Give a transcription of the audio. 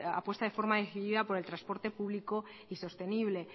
apuesta de forma decidida por el transporte público y sostenible